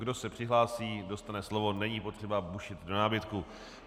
Kdo se přihlásí, dostane slovo, není potřeba bušit do nábytku.